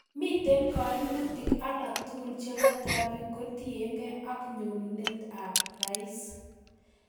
Miten kaimutik alak tugul chebo trafik kotienge ak nyonunet ab rais